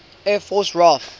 air force raaf